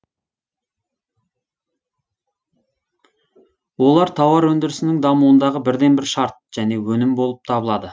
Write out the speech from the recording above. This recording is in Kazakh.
олар тауар өндірісінің дамуындағы бірден бір шарт және өнім болып табылады